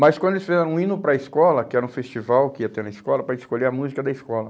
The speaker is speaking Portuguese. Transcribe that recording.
Mas quando eles fizeram um hino para a escola, que era um festival que ia ter na escola, para escolher a música da escola.